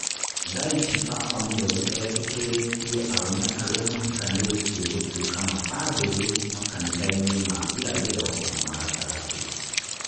Thaici baba mũtheru e-tĩkĩrĩtie arũme arĩa mahikanĩtie gũtũĩka mabandĩrĩ makanitha-inĩ ma irathĩro na ma gatagatĩ.